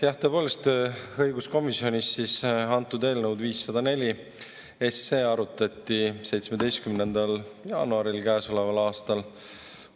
Jah, tõepoolest, õiguskomisjonis arutati eelnõu 504 17. jaanuaril käesoleval aastal.